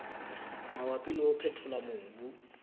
mabapi le ho phethola mobu